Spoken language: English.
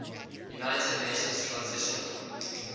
united nations transitional